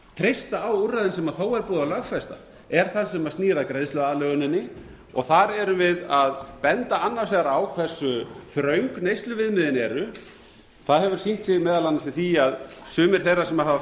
treysta á úrræðin sem þó er búið að lögfesta er það sem snýr að greiðsluaðlöguninni þar erum við að benda annars vegar á hversu þröng neysluviðmiðin eru það hefur sýnt sig meðal annars í því að sumir þeirra sem hafa